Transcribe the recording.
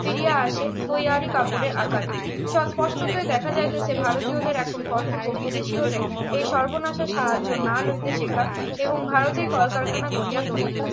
ফিরিয়া আসে তৈয়ারী কাপড়ের আকারে সৎ স্পষ্টতই দেখা যাচ্ছে যে ভারতীয়দের এখন কর্তব্য বিদেশিদের এই সর্বনাশা সাহায্য না লইতে শেখার এবং ভারতে কলকারখানা গড়িয়া তোলা